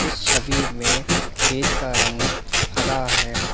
छवि मे खेत का रंग हरा है।